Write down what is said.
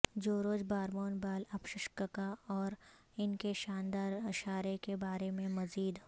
جورج Harmon بالابشککا اور ان کے شاندار اشارے کے بارے میں مزید